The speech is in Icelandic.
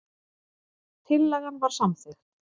Tillagan var samþykkt.